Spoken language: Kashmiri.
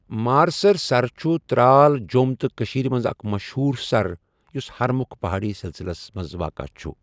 مارسَر سَر چھُ ترال، جۆم تہٕ کٔشیٖرِ مَنٛز اَكھ مَشہوٗر سَر یۄس ہَرمُکھ پَہأڈی سِلسِلس واقَہ چھُ۔